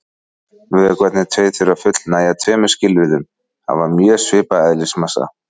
Vökvarnir tveir þurfa að fullnægja tveimur skilyrðum: Hafa mjög svipaðan eðlismassa.